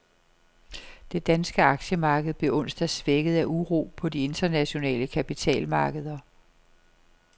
Det danske aktiemarked blev onsdag svækket af uro på de internationale kapitalmarkeder.